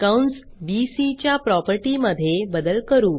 कंस B C प्रॉपर्टीमधे बदल करू